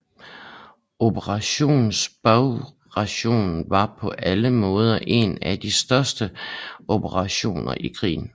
Operation Bagration var på alle måder en af de største operationer i krigen